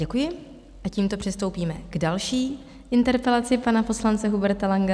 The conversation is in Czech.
Děkuji a tímto přistoupíme k další interpelaci pana poslance Huberta Langa.